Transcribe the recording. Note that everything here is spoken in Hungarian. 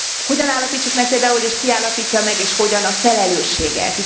Hogyan állapítsuk meg például és ki állapítja meg és hogyan a felelősséget?